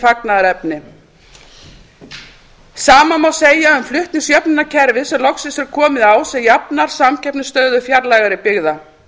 fagnaðarefni sama má segja um flutningsjöfnunarkerfið sem loksins er komið á sem jafnar samkeppnisstöðu fjarlægari byggða